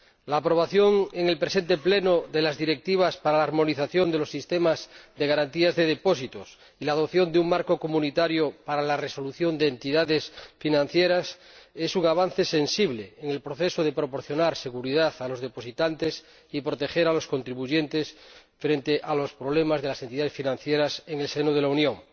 La aprobación en el presente Pleno de las Directivas para la armonización de los sistemas de garantía de depósitos y la adopción de un marco de la Unión para la resolución de entidades financieras es un avance sensible en el proceso de proporcionar seguridad a los depositantes y proteger a los contribuyentes frente a los problemas de las entidades financieras en el seno de la Unión.